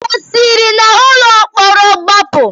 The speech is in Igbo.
O siri n'ụlọ mkpọrọ gbapụ?